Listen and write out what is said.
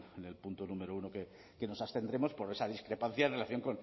en el punto número uno que nos abstendremos por esa discrepancia en relación